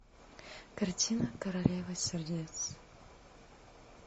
картина королева сердец